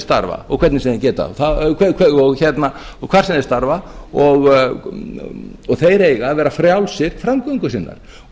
starfa og hvernig sem þeir geta það og hvar sem þeir starfa og þeir eiga að vera frjálsir framgöngu sinnar